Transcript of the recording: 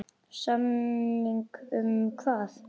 Samning um hvað?